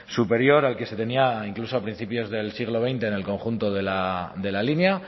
superior al que se tenía incluso a principios del siglo veinte en el conjunto de la línea